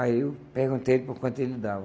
Aí eu perguntei por quanto ele dava.